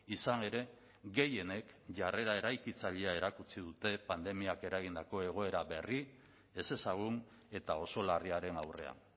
izan ere gehienek jarrera eraikitzailea erakutsi dute pandemiak eragindako egoera berri ezezagun eta oso larriaren aurrean